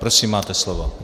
Prosím, máte slovo.